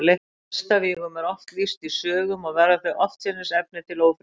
Hestavígum er oft lýst í sögum, og verða þau oftsinnis efni til ófriðar.